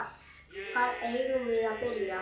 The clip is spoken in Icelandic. Hvar eigum við að byrja?